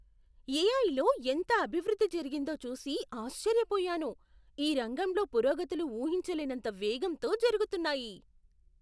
ఏఐలో ఎంత అభివృద్ధి జరిగిందో చూసి ఆశ్చర్యపోయాను. ఈ రంగంలో పురోగతులు ఊహించలేనంత వేగంతో జరుగుతున్నాయి.